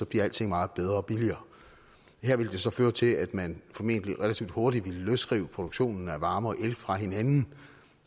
bliver alting meget bedre og billigere her ville det så føre til at man formentlig relativt hurtigt ville løsrive produktionen af varme og el fra hinanden